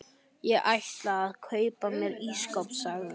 Ég ætla að kaupa mér ísskáp sagði